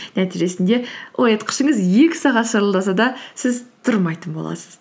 нәтижесінде оятқышыңыз екі сағат шырылдаса да сіз тұрмайтын боласыз